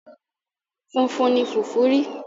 Funfun ni fùfú ri.